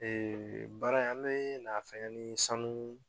baara in an bɛna fɛnkɛ ni sanu